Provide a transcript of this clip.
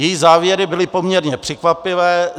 Její závěry byly poměrně překvapivé.